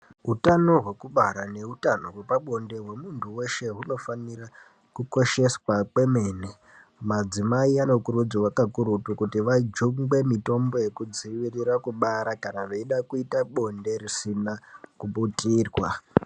Utano hwekubara neutano hwepabonde hwemuntu weshe hunofanira kukosheswa kwemene, madzimai anokurudzirwa kakurutu kuti vajungwe mitombo yekudzivirira kubara kana veida kuita bonde risina kubutirwa.